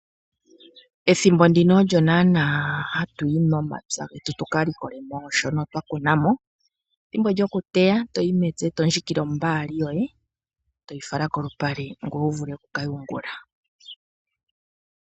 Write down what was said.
Ethimbo ndino olyo naanaa hatu yi momapya getu tuka likole mo shono twa kuna mo. Ethimbo lyokuteya toyi mepya eto ndjikile ombaali yoye eto yi fala kolupale ngoye wu vule oku kayungula .